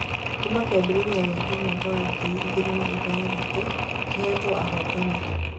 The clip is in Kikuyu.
Kuuma kĩambĩrĩria gĩake mwaka wa ngiri igĩrĩ na ithathato, kĩhetwo ahotani ana tu